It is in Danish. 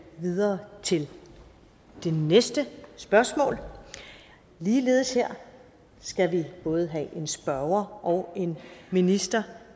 videre til det næste spørgsmål ligeledes her skal vi både have en spørger og en minister